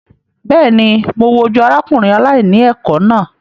Bẹ́ẹ̀ ni, mo wojú arákùnrin aláìní ẹ̀kọ́ náà.